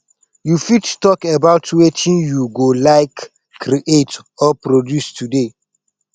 you fit talk about wetin you go like create or produce today